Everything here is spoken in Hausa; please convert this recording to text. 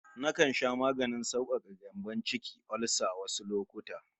Nakan sha maganin saukaka gyambon ciki (olsa) wasu lokuta